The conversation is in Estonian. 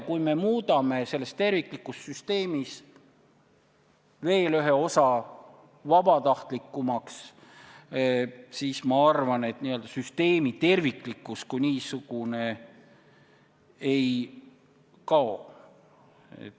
Kui muudame selles terviklikus süsteemis veel ühe osa vabatahtlikumaks, siis ma arvan, et n-ö süsteemi terviklikkus kui niisugune ei kao.